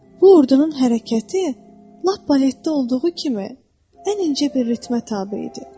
Bu ordunun hərəkəti lap baletdə olduğu kimi ən incə bir ritmə tabe idi.